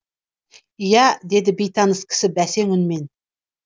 иә деді бейтаныс кісі бәсең үнмен